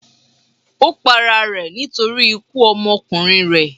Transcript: Ó pa ara rẹ̀ nítorí ikú ọmọkùnrin rẹ̀.